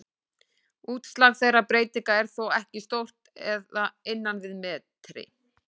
Útslag þeirra breytinga er þó ekki stórt eða innan við metri.